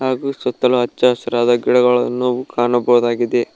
ಹಾಗು ಸುತ್ತಲು ಹಚ್ಚ ಹಸಿರಾದ ಗಿಡಗಳನ್ನು ನಾವು ಕಾಣಬೋದಾಗಿದೆ.